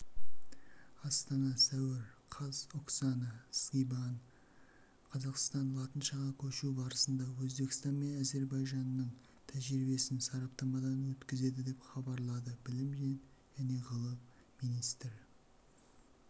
астана сәуір қаз оксана скибан қазақстан латыншаға көшу барысында өзбекстан мен әзірбайжанның тәжірибесін сараптамадан өткізеді деп хабарлады білім және ғылым министрі